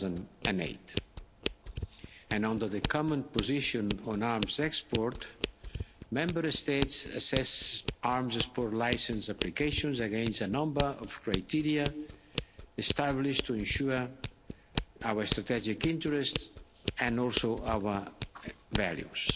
2008. Under the common position on arms export, Member States assess arms export license applications against a number of criteria established to ensure our strategic interests and also our values.